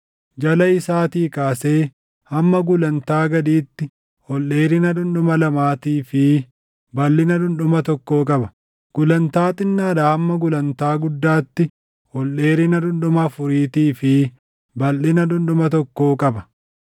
Jala isaatii kaasee hamma gulantaa gadiitti ol dheerina dhundhuma lamaatii fi balʼina dhundhuma tokkoo qaba; gulantaa xinnaadhaa hamma gulantaa guddaatti ol dheerina dhundhuma afuriitii fi balʼina dhundhuma tokkoo qaba.